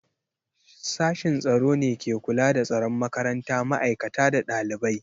Sashin tsaro ne ke kula da tsaron makaranta, ma'aikata da ɗalibai.